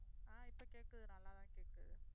ஆஹ் இப்ப கேட்குது. நல்லாதான் கேட்குது.